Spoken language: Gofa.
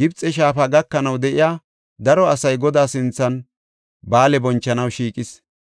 Gibxe shaafa gakanaw de7iya daro asay Godaa sinthan ba7aale bonchanaw shiiqis.